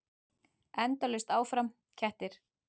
Endalaust áfram: kettir.